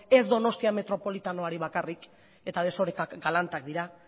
ez donostia metropolitanoari bakarrik eta desorekak galantak dira